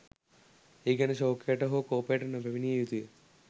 ඒ ගැන ශෝකයට හෝ කෝපයට නොපැමිණිය යුතු ය.